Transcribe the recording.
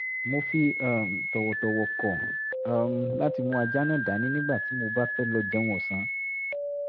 mo fi um tọ̀wọ̀tọ̀wọ̀ kọ̀ um láti mú ajá náà dání nígbà tí mo bá fẹ́ lọ jẹun ọ̀sán